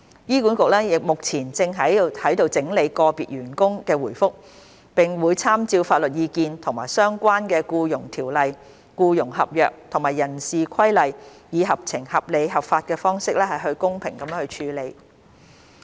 醫管局目前正在整理個別員工的回覆，並會參照法律意見及相關《僱傭條例》、僱傭合約及人事規例，以合情、合理、合法的方式公平處理。